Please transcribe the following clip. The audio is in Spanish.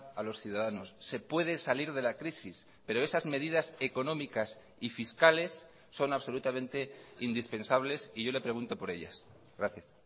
a los ciudadanos se puede salir de la crisis pero esas medidas económicas y fiscales son absolutamente indispensables y yo le pregunto por ellas gracias